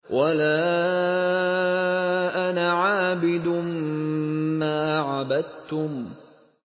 وَلَا أَنَا عَابِدٌ مَّا عَبَدتُّمْ